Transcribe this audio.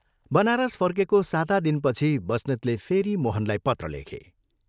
बनारस फर्केको साता दिनपछि बस्नेतले फेरि मोहनलाई पत्र लेखे।